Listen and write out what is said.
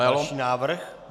Další návrh.